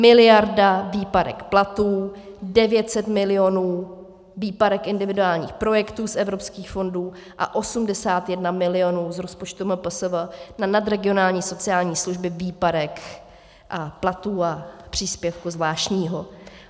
Miliarda výpadek platů, 900 milionů výpadek individuálních projektů z evropských fondů a 81 milionů z rozpočtu MPSV na nadregionální sociální služby, výpadek platů a příspěvku zvláštního.